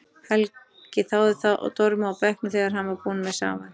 Helgi þáði það og dormaði á bekknum þegar hann var búinn með safann.